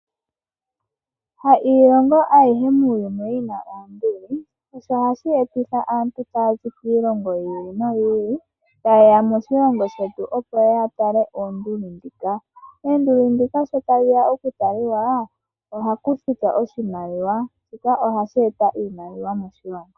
Hailongo ayihe muuyuni yi na oonduli, sho osho hashi etitha aantu ta ya zi kiilongo yi ili noyi ili ta ye ya moshilongo shetu opo ya tale oonduli ndhika. Oonduli ndhika sho tadhi ya okutalika ohapu futwa oshimaliwa. Shika ohashi etitha iimaliwa moshilongo.